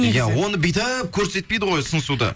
иә оны бүйтіп көрсетпейді ғой сыңсуды